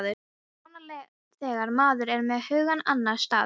Það er svona þegar maður er með hugann annars staðar.